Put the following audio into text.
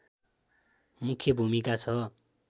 मुख्य भूमिका छ